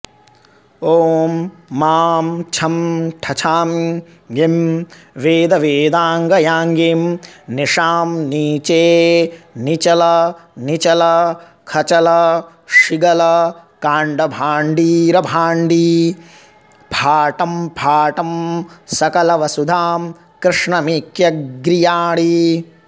ॐ मां छं ठछां गीं वेदवेदाङ्गयाङ्गीं निशां नीचेनीचलनीचलखचलशीगलकाण्डबाण्डीरभाण्डी फाटं फाटं सकलवसुधां कृष्णमेक्यग्रीयाणी